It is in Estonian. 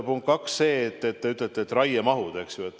Punkt kaks, mida te ütlesite, raiemahud.